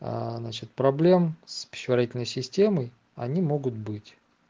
а насчёт проблем с пищеварительной системой они могут быть